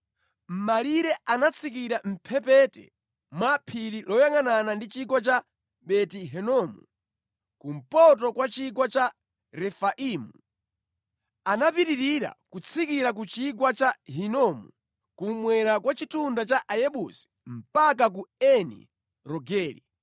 Malire anatsikira mʼmphepete mwa phiri loyangʼanana ndi chigwa cha Beni Hinomu, kumpoto kwa chigwa cha Refaimu. Anapitirira kutsikira ku chigwa cha Hinomu kummwera kwa chitunda cha Ayebusi mpaka ku Eni Rogeli.